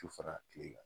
Tu fara tile kan